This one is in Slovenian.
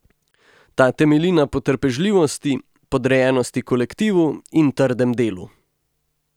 Ta temelji na potrpežljivosti, podrejenosti kolektivu in trdem delu.